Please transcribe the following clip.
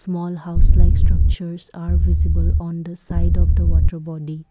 small house like structures are visible on the side of the water body.